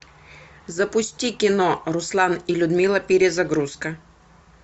запусти кино руслан и людмила перезагрузка